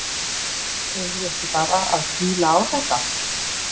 Eigum við ekki bara að kýla á þetta?